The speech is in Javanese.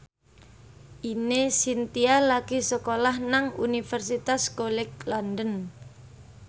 Ine Shintya lagi sekolah nang Universitas College London